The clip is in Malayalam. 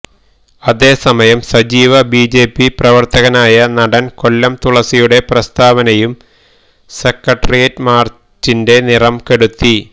അതേസമയം സജീവ ബിജെപി പ്രവര്ത്തകനായ നടന് കൊല്ലം തുളസിയുടെ പ്രസ്താവനയും സെക്രട്ടേറിയറ്റ് മാര്ച്ചിന്റെ നിറം കെടുത്തി